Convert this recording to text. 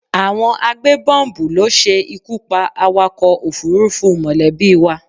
Àwọn agbébọ́m̀bù ló ṣe ikú pa awakọ̀ òfúrufú mọ̀lẹ́bí wa